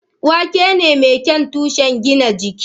Wake ne mai kyau tushen gina jiki.